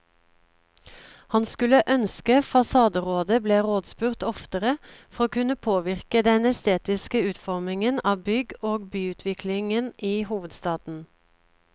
Han skulle ønske fasaderådet ble rådspurt oftere for å kunne påvirke den estetiske utformingen av bygg og byutviklingen i hovedstaden.